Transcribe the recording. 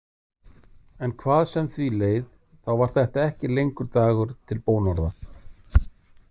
En hvað sem því leið, þá var þetta ekki lengur dagur til bónorða.